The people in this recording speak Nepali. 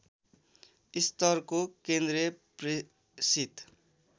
स्तरको केन्द्रीय प्रेसित